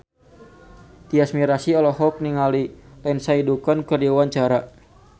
Tyas Mirasih olohok ningali Lindsay Ducan keur diwawancara